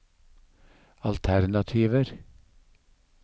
alternativer